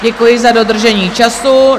Děkuji za dodržení času.